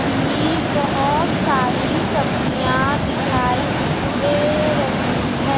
की बहोत सारी सब्जियां दिखाई दे रही है।